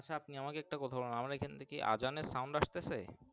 আচ্ছা আপনি আমাকে একটা কথা বলেন আমাদের এক্ষানে আজান এর Sound আসতাছে।